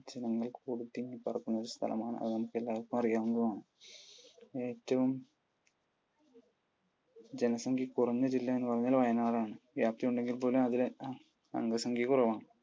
ജനങ്ങൾ കൂടി തിങ്ങിപ്പാർക്കുന്ന ഒരു സ്ഥലമാണ്. അത് നമുക്കെല്ലാവർക്കും അറിയാവുന്നതും ആണ്. ഏറ്റവും ജനസംഖ്യ കുറഞ്ഞ ജില്ല എന്ന് പറഞ്ഞാൽ വയനാട് ആണ്. വ്യാപ്തി ഉണ്ടെങ്കിൽ പോലും അതിൽ അംഗ സംഖ്യ കുറവാണ്.